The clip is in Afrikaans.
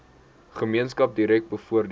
gemeenskap direk bevoordeel